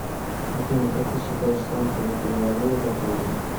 афина как ты считаешь солнце уже перевалило за полдень